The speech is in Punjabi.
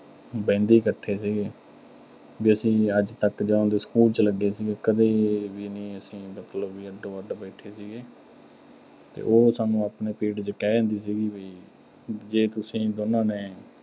ਬਹਿੰਦੇ ਹੀ ਇਕੱਠੇ ਸੀਗੇ। ਵੀ ਅੱਜ ਤੱਕ ਅਸੀਂ ਜਦੋਂ ਦੇ school ਚ ਲੱਗੇ ਸੀਗੇ, ਕਦੇ ਵੀ ਨੀਂ ਅਸੀਂ ਮਤਲਬ ਅੱਡੋ-ਅੱਡ ਬੈਠੇ ਸੀਗੇ। ਤੇ ਉਹ ਸਾਨੂੰ ਆਪਣੇ period ਚ ਕਹਿ ਦਿੰਦੀ ਸੀਗੀ ਵੀ ਜੇ ਤੁਸੀਂ ਦੋਨਾਂ ਨੇ